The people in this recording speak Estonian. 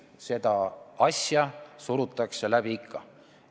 Seda asja surutakse läbi ikka.